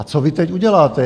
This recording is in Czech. A co vy teď uděláte?